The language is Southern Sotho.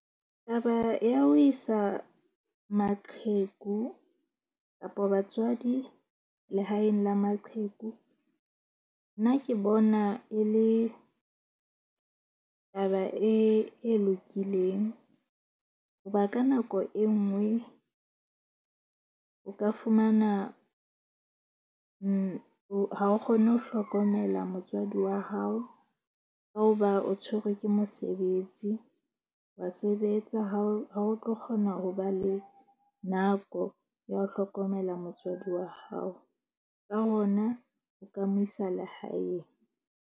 Taba ya ho isa maqheku kapa batswadi lehaeng la maqheku nna ke bona e le taba e lokileng. Hoba ka nako e nngwe o ka fumana ha o kgone ho hlokomela motswadi wa hao ka hoba o tshwerwe ke mosebetsi. Wa sebetsa ha o tlo kgona ho ba le nako ya ho hlokomela motswadi wa hao. Ka hona, o ka mo isa lehaeng.